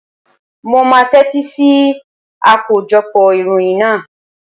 Mo máa tẹ́tí sí akójọpọ̀ ìròyìn náà.